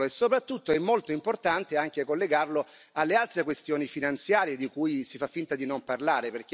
Soprattutto è molto importante anche collegarlo alle altre questioni finanziarie, di cui si fa finta di non parlare.